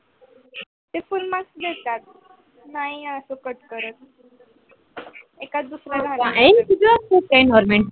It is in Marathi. ते full mark भेटतात. नाही अशे कट करत